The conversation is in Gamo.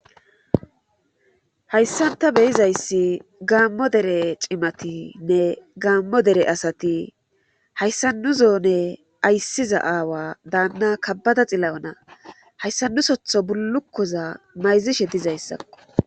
hayssan ta beyizayssi gaammo dere cimatinne gaammo dere asati hayssa nu zone ayssiza aawa daanna kabbada xilla7ona hayssa nu sotho bullukkoza mayzishe dizayssakko